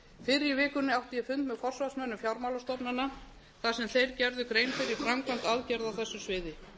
í vikunni átti ég fund með forsvarsmönnum fjármálastofnana þar sem þeir gerðu grein fyrir framkvæmd aðgerða á þessu sviði